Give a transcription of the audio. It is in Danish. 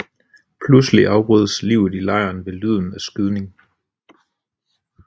Pludselig afbrydes livet i lejren ved lyden af skyding